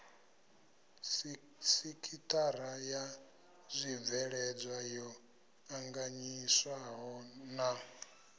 sekithara ya zwibveledzwa yo anganyiswahona